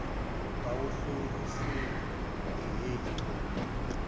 bewuhlosile hheyi xola